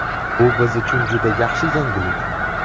Bu biz uchun juda yaxshi yangilik.